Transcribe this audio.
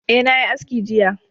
Ae, na yi aski jiya